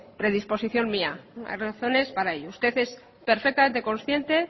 predisposición mía hay razones para ello usted es perfectamente consciente